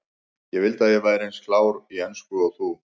Ég vildi að ég væri eins klár í ensku og þú.